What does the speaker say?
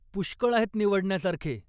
पुष्कळ आहेत निवडण्यासारखे.